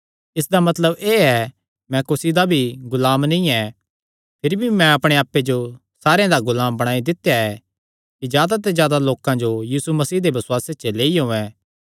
इसदा मतलब एह़ ऐ मैं कुसी दा भी गुलाम नीं ऐ भिरी भी मैं अपणे आप्पे जो सारेयां दा गुलाम बणाई दित्या ऐ कि जादा ते जादा लोकां जो यीशु मसीह दे बसुआसे च लेई औयें